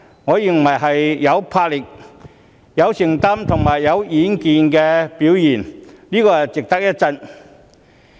我認為這是有魄力、有承擔及有遠見的表現，值得一讚。